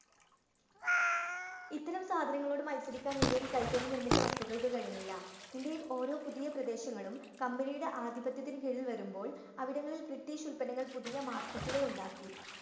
ഇത്തരം സാധനങ്ങളോട് മത്സരിക്കാന്‍ ഇന്ത്യൻ കൈകൊണ്ടു നിര്‍മ്മിച്ച വസ്തുക്കള്‍ക്ക് കഴിഞ്ഞില്ല. ഇന്ത്യയില്‍ ഓരോ പുതിയ പ്രദേശങ്ങളും company യുടെ ആധിപത്യത്തിന്‍ കീഴില്‍ വരുമ്പോള്‍ അവിടങ്ങളില്‍ ബ്രിട്ടീഷ് ഉത്പന്നങ്ങള്‍ പുതിയ market ഉകള്‍ ഉണ്ടാക്കി.